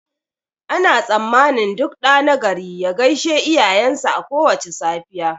Ana tsammanin duk ɗa nagari ya gaishe iyayen shi a kowace safiya